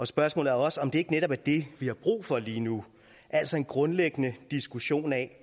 spørgsmålet er også om det ikke netop er det vi har brug for lige nu altså en grundlæggende diskussion af